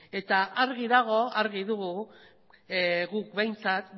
eta argi dago argi dugu guk behintzat